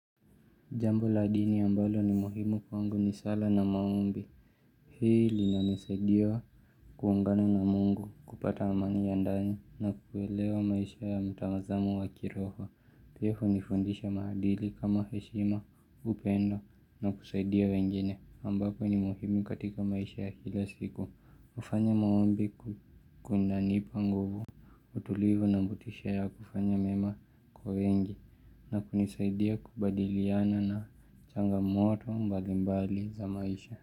Jambo la dini ambalo ni muhimu kwangu ni sala na maombi. Hii linanisaidia kuungana na mungu kupata amani ya ndani na kuelewa maisha ya mtamazamo wa kiroho. Pia hunifundisha maadili kama heshima upendo na kusaidia wengine ambapo ni muhimu katika maisha ya kila siku. Kufanya maombi kunanipa nguvu. Utulivu na motisha ya kufanya mema kwa wengi na kunisaidia kubadiliana na changamoto mbalimbali za maisha.